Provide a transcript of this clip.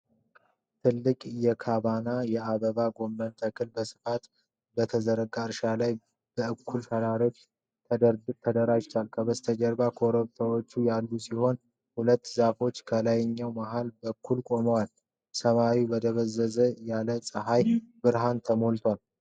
ትልቅ የካባና የአበባ ጎመን ተክል በስፋት በተዘረጋ እርሻ ላይ በእኩል ተራሮች ተደርድሯል። ከበስተጀርባ ኮረብታዎች ያሉ ሲሆን ሁለት ዛፎች ከላይኛው መሀል በኩል ቆመዋል። ሰማዩ በደብዘዝ ያለ የፀሐይ ብርሃን ተሞልቷል።